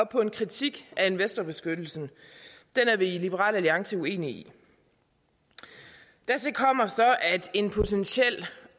på en kritik af investorbeskyttelsen den er vi i liberal alliance uenige i dertil kommer så at en potentiel